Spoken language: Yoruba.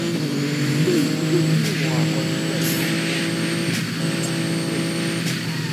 ṣe ìmúdójúìwọn àkosile inawo wọn kí o sì pèsè àkójọ ìgbìyànjú